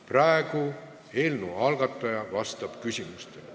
Praegu vastab eelnõu algataja küsimustele.